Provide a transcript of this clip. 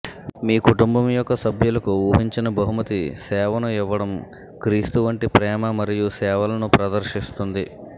మీ కుటుంబం యొక్క సభ్యులకు ఊహించని బహుమతి సేవను ఇవ్వడం క్రీస్తు వంటి ప్రేమ మరియు సేవలను ప్రదర్శిస్తుంది